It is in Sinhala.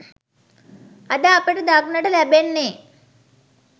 අද අපට දක්නට ලැබෙන්නේ